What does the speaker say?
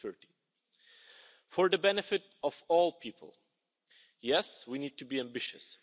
2030. For the benefit of all people, yes, we need to be ambitious.